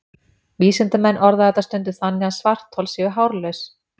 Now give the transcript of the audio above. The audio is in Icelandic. Vísindamenn orða þetta stundum þannig að svarthol séu hárlaus!